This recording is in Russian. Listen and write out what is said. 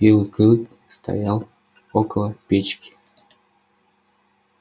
белый клык стоял около печки